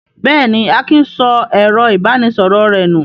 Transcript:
Bẹ́ẹ̀ ni, Akin sọ ẹ̀rọ-ìbánisọ̀rọ̀ rẹ̀ nù.